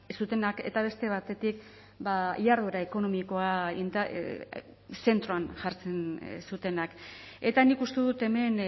zutenak eta beste batetik jarduera ekonomikoa zentroan jartzen zutenak eta nik uste dut hemen